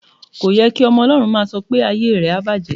Kò ye kí ọmọ Ọlọ́run máà sọ pé "ayé rẹ á bàjẹ́".